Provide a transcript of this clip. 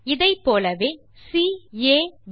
இதைப் போலவே கேப்